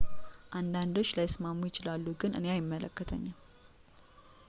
አንዳንዶች ላይስማሙ ይችላሉ ግን እኔ አይመለከተኝም